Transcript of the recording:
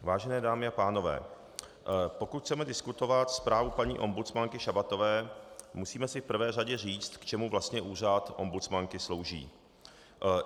Vážené dámy a pánové, pokud chceme diskutovat zprávu paní ombudsmanky Šabatové, musíme si v prvé řadě říct, k čemu vlastně úřad ombudsmanky slouží.